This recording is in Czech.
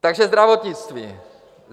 Takže zdravotnictví.